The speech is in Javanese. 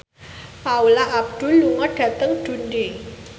Paula Abdul lunga dhateng Dundee